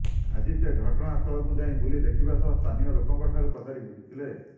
ଆଜି ସେ ଘଟଣାସ୍ଥଳକୁ ଯାଇ ବୁଲି ଦେଖିବା ସହ ସ୍ଥାନୀୟ ଲୋକଙ୍କଠାରୁ ପଚାରି ବୁଝିଥିଲେ